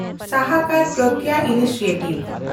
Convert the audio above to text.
ᱥᱟᱦᱟᱠᱮᱱᱰᱯᱨᱟᱜᱽᱭᱟ initiative